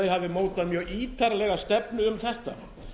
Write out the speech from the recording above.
hafi mótað mjög ítarlega stefnu um þetta